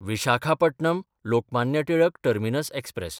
Visakhapatnam Lokmanya Tilak terminus express